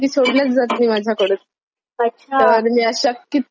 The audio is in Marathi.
तर मी अशा अच्छा कितीतरी सिरीज पाहून झाल्यात.